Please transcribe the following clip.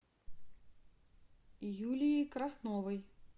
юлией красновой